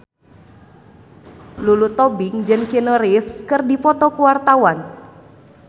Lulu Tobing jeung Keanu Reeves keur dipoto ku wartawan